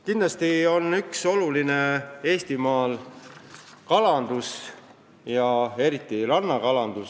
Kindlasti on oluline majandusharu Eestimaal kalandus, eriti rannakalandus.